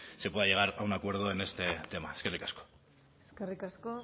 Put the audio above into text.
se pueda llegar a un acuerdo en este tema eskerrik asko eskerrik asko